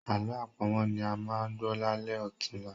Àlọ́ àpamọ̀ ni a máa gbọ́ lálẹ́ ọ̀tunla